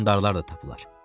Hökmdarlar da tapılar.